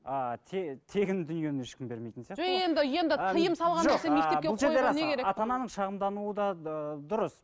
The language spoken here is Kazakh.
ааа тегін дүниені ешкім бермейтін сияқты ғой ата ананың шағымдануы да дұрыс